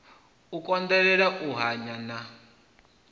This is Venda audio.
u konḓelela u hanya na